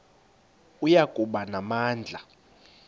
oya kuba namandla